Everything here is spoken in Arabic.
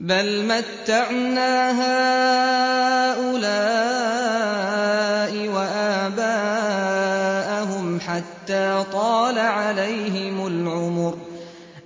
بَلْ مَتَّعْنَا هَٰؤُلَاءِ وَآبَاءَهُمْ حَتَّىٰ طَالَ عَلَيْهِمُ الْعُمُرُ ۗ